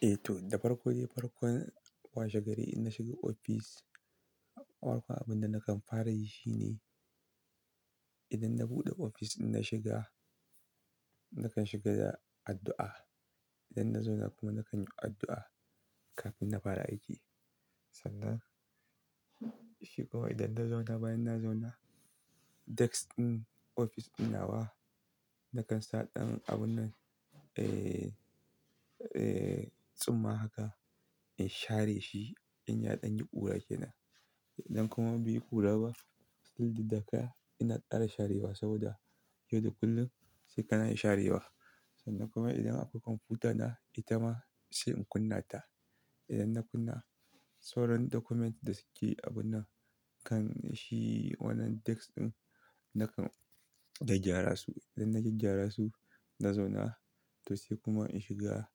Eh to, farko dai farkon washe gari in na shiga ofis, farkon abun da nakan fara yi shine idan na buɗe ofis idan na shiga, nakan shiga da addu'a. Idan na zauna kuma nakan yi addu'a kafin na fara aiki. Sannan shi kuma idan na zauna bayan na zauna, desk ɗin ofis ɗin nawa nakan sa ɗan abun ehh tsumma haka in share shi in ya ɗan yi ƙura ke nan. Idan kuma bai yi ƙura ba, fil ɗin da haka ina kara ts sharewa saboda yau da kullum sai ka na sharewa. Sannan kuma idan akwai kwamfuta na, ita ma sai in kunna ta. Idan na kunna, sauran document da suke a wannan kan shi wannan desk ɗin nakan gyaggyara su. Idan na gyaggyara su, na zauna to sai kuma in shiga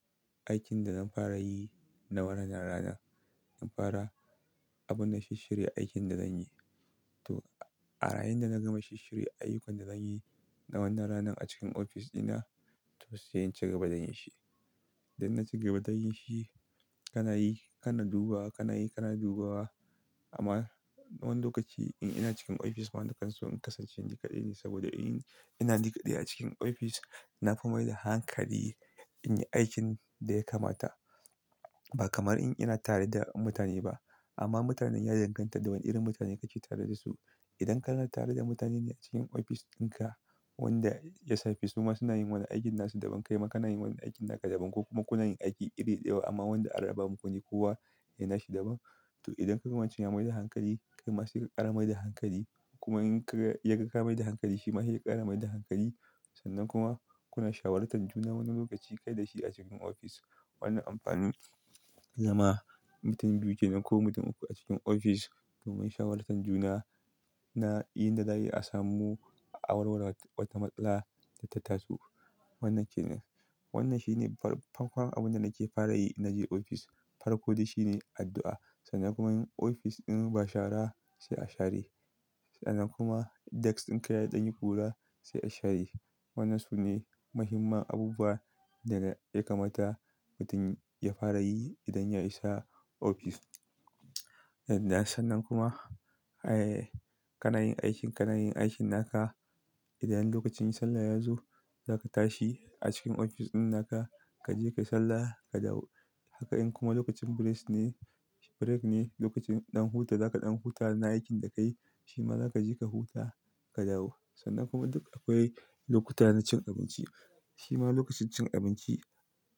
aikin da na fara yi na wannan ranar. Na fara abun na shisshirya aikin da zanyi. To a yayinda da na gama shisshirya ayyukan da zanyi na wannan ranar a cikin ofis ɗina, to sai in cigaba da yin shi. Idan na cigaba da yin shi, kana yi kana dubawa, kana yi kana dubawa. Amma wani lokaci in ina cikin ofis ma na kan so in kasance ni kaɗai ne saboda in ina ni kaɗai a cikin ofis, na fi mai da hankali in yi aikin da ya kamata. Ba kamar in ina tare da mutane ba. Amma mutanen ya danganta da wane irin mutane kake tare da su. Idan kana tare da mutane ne a cikin ofis ɗinka wanda da safe su ma suna yin wani aikin na su daban kai ma kana yin wani aikin naka daban ko kuma kuna yin aiki iri ɗaya amma wanda an raba ma ku ne kowa dana shi daban. To idan ka ga wan can ya mai da hankali, kai ma sai ka ƙara mai da hankali. Kuma in ka yaga ka mai da hankali, shi ma sai ya ƙara mai da hankali. Sannan kuma kuna shawarar tan juna wani lokaci kai da shi a cikin ofis. Wannan amfanin zama mutum biyu kenan ko mutum uku a cikin ofis domin shawarar tan juna na yin da za ai asamu a warware wata matsala da ta taso. Wannan shine ne far, farkon abin da nake fara yi in naje ofis. Farkon dai shi ne addu'a. Sannan kuma in ofis ɗin ba shara sai a share. Sannan kuma desk ɗin ka ya ɗan yi ƙura sai a share. Wannan su ne muhimman abubuwan dana ya kamata mutum ya fara yi idan ya isa ofis. Sannan kuma kana yin aikin kana yin aikin naka. Idan lokacin sallah ya zo, za ka tashi a cikin ofis ɗin naka, ka je kai sallah ka dawo. Haka in kuma lokacin bres ne, break ne lokacin ɗan huta, za ka ɗan huta na aikin da ka yi, shi ma za ka je ka huta ka dawo. Sannan kuma duk akwai lokuta na cin abinci. Shi ma lokacin cin abinci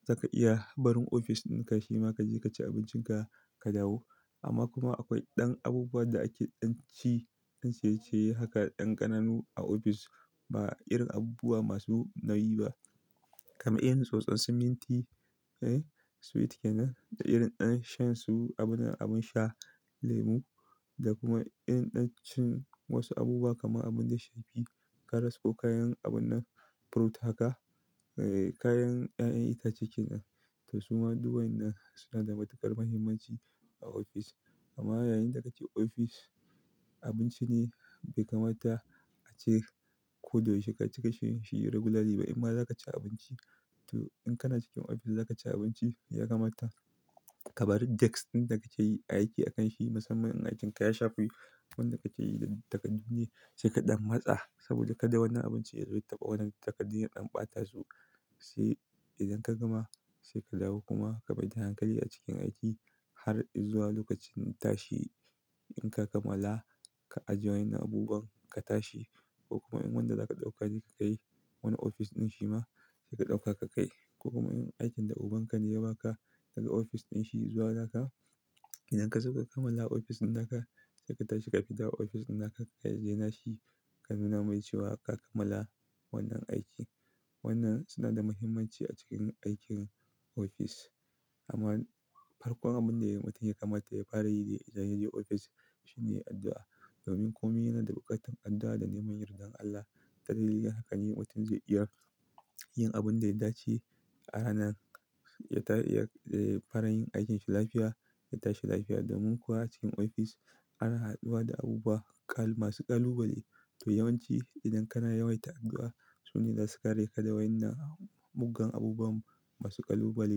za ka iya barin ofis ɗinka, shi ma ka je ka ci abincin ka, ka dawo. Amma kuma akwai ɗan abubuwan da ake ɗan ci, ɗan ciye-ciye haka ɗan ƙananu a ofis ba irin abubuwa masu nauyi ba. Kama irin tsotson su minti, ehnn sweet ke nan, da irin ɗan shan su abun nan sha lemu da kuma irin ɗan cin wasu abubuwa kamar abun da ya shafi karas ko kayan abun na ɗan furut haka, kayan 'ya'yan itace ke nan. To su ma duk wan nan suna da matuƙar muhimmanci a ofis. Amma yayin da kace ofis, abinci ne bai kamata ace ko da yaushe ka ci ka sha shi regularly ba. Kuma za ka ci abinci. To in kana cikin ofis za ka ci abinci, ya kamata ka barin desk ɗin da kake yi aiki a kan shi, musamman in aikin ka ya shafi wanda kake yi da takardu ne sai ka ɗan matsa saboda kada wannan abincin ya rufe wadan takardun ya ɗan ɓata su. Sai idan ka gama sai ka dawo kuma ka mai da hankali a cikin aiki har izuwa lokacin tashi. In ka kamala ka ajiye wannan abubuwan ka tashi ko kuma in wanda za ka ɗauka ne ka kai wani ofis ɗin shi ma sai ka ɗauka ka kai. Ko kuma in aikin da ubanka ne ya ba ka daga ofis ɗin shi izuwa naka, idan ka sauka kamala ofis ɗin naka, sai ka tashi ka fidda wa ofis ɗin naka ka ziyace shi ka nuna mai cewa ka kamala wannan aiki. Wannan suna da muhimmanci a cikin aikin ofis. Amma farkon abun da mutum ya kamata ya fara yi ne idan ya je ofis shine addu'a. Domin komai yana da buƙatar addu'a da neman yardan Allah. Ta dalilin haka ne mutum zai iya yin abun da ya dace a rana. Ya fara yin aikinsa lafiya, ya tashi lafiya. Domin kuwa cikin ofis ana haduwa da abubuwa kal masu ƙalubale. To yawanci idan kana yawaita addu'a, su ne za su kare ka da wannan muggan abubuwan masu ƙalubale.